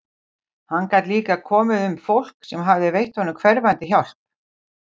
Hann gat líka um fólk sem hafði veitt honum hverfandi hjálp.